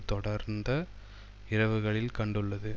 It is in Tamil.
தொடர்ந்த இரவுகளில் கண்டுள்ளது